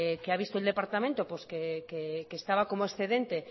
que ha visto el departamento pues que estaba como excedente